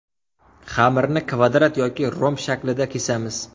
Xamirni kvadrat yoki romb shaklida kesamiz.